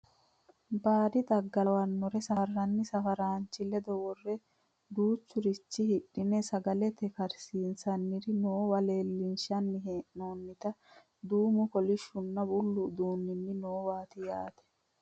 baadi xagga lawannore safarranni safaraanchi ledo worre duuchurichi hidhine sagalete karsinanniri noowa leellinshanni hee'noonnita duumu kolishshunna bullu uduuunni noowaati yaate